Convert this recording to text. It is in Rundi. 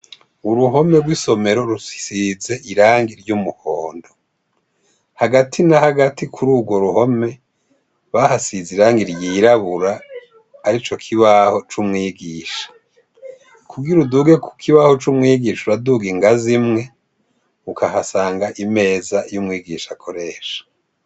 Uruhome rw'isomero hagati nahagati k'urwo ruhome basize irangi ryirabura arico kibaho c'umwigisha, kugir'uduge kukibaho c'umwigisha uraduga ingazi imwe , ukahasanga imeza y'umwigisha akoresha.